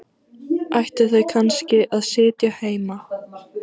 Ættu þau kannski að sitja heima?